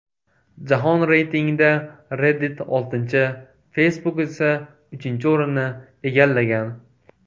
Jahon reytingida Reddit oltinchi, Facebook esa uchinchi o‘rinni egallagan.